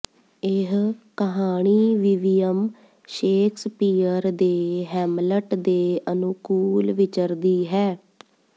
ਇਹ ਕਹਾਣੀਵਿਵੀਅਮ ਸ਼ੇਕਸਪੀਅਰ ਦੇ ਹੈਮਲਟ ਦੇ ਅਨੁਕੂਲ ਵਿਚਰਦੀ ਹੈ